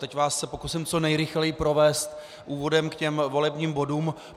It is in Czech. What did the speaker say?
Teď se vás pokusím co nejrychleji provést úvodem k těm volebním bodům.